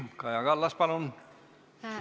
Kaja Kallas, palun!